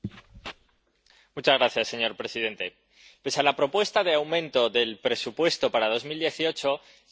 Señor presidente, pese a la propuesta de aumento del presupuesto para 2018, seguimos sin dar la talla.